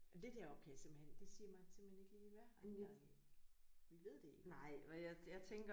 Men det der oppe kan jeg simpelthen det siger mig simpelthen ikke lige hvad har han gang i. Vi ved det ikke